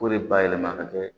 K'o de bayɛlɛma ka kɛ